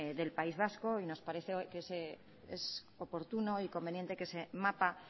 del país vasco y nos parece que es oportuno y conveniente que ese mapa